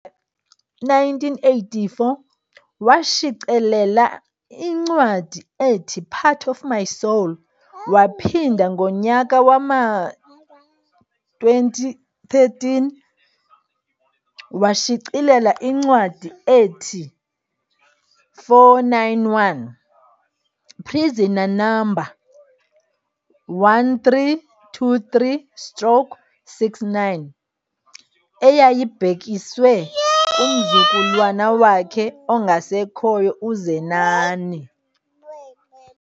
1984, washicelela incwadi ethi-Part Of My Soul waphinda ngonyaka wama-2013 washicelela incwadi ethi-491 - Prisoner Number 1323 stroke 69 eyayibhekiswe kumzukulwana wakhe ongasekhoyo uZenani.